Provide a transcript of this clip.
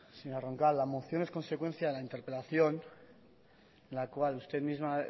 señora roncal la moción es consecuencia de la interpelación en la cual usted misma